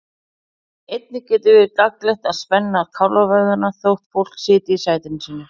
Einnig getur verið gagnlegt að spenna kálfavöðvana þótt fólk sitji í sætinu sínu.